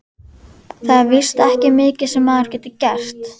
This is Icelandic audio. Það er víst ekki mikið sem maður getur gert.